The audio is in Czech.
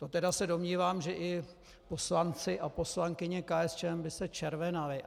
To tedy se domnívám, že i poslanci a poslankyně KSČM by se červenali.